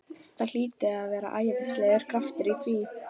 Það hlýtur að vera æðislegur kraftur í því!